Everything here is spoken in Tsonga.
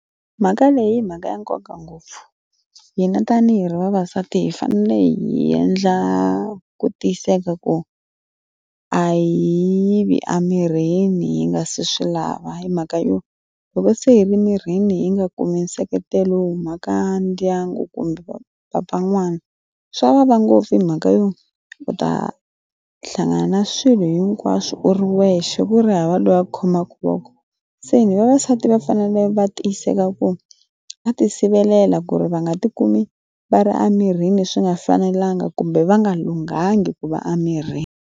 Mhaka leyi hi mhaka ya nkoka ngopfu hina tanihi ri vavasati hi fanele hi endla ku tiyiseka ku a yi yivi emirini yi nga se swi lava hi mhaka yo loko se i vi ni rini yi nga kumi nseketelo wu mhaka ndyangu kumbe papa n'wana swa vava ngopfu hi mhaka yona u ta hlangana swilo hinkwaswo u ri wexe ku ri hava loyi a khomaka loko se ni vavasati va fanele va tiyiseka ku a ti sivelela ku ri va nga ti kumi va ri emirini swi nga fanelanga kumbe va nga lunghangi ku va emirini.